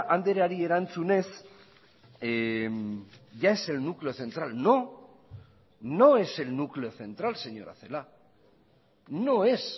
andreari erantzunez ya es el núcleo central no no es el núcleo central señora celaá no es